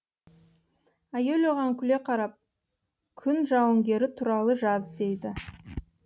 әйел оған күле қарап күн жауынгері туралы жаз дейді